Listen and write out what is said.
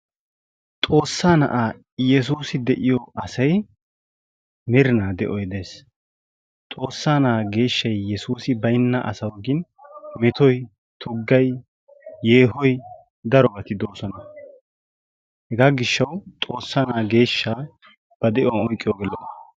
Xoossa na'a Yesuussi de'iyoo asay merina de'o de'ees. Xoossa na'a geeshshay Yesuussi baynna asawu gin metoy tuggay yehoy darobati de'oosona. hega gishaw Xoossa na Yesuussa ba de'uwaan oyqqiyooge lo''o.